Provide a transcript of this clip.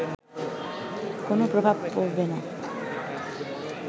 কোন প্রভাব পরবেনা